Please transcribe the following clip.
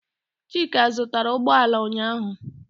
Chika zụtara ụgbọala ụnyaahụ.